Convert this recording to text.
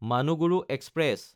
Manuguru express